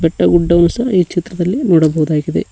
ಬೆಟ್ಟ ಗುಡ್ಡಗಳು ಸಹ ಈ ಚಿತ್ರದಲ್ಲಿ ನೋಡಬಹುದಾಗಿದೆ.